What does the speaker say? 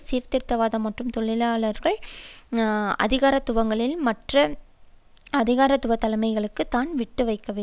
சீர்திருத்தவாத மற்றும் தொழிலாளர் அதிகாரத்துவங்களில் மற்றய அதிகாரத்துவ தலைமைகளுக்கும் தான் விட்டு வைக்கவில்லை